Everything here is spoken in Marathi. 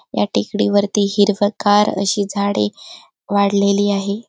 या टेकडीवर हिरवगार अशी झाडे वाढलेली आहे.